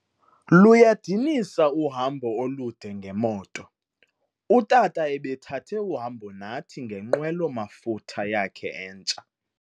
Luyadinisa uhambo olude ngemoto. Utata ebethathe uhambo nathi ngenqwelo mafutha yakhe entsha